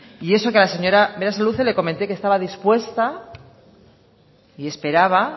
y eso que a la señora berasaluze le comenté que estaba dispuesta y esperaba